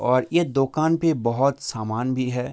और ये दोकान पे बहोत सामान भी है।